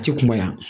A ti kuma yan